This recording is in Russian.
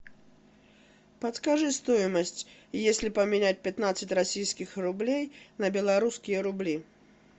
подскажи стоимость если поменять пятнадцать российских рублей на белорусские рубли